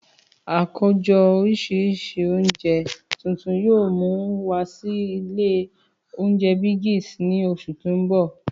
Àkójọ oríṣi oúnjẹ tuntun yoo mu wa si ilé oúnjẹ Biggs ni oṣu ti n bọ.